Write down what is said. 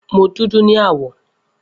Mo dudu ni awọ.